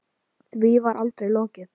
Því var aldrei lokið.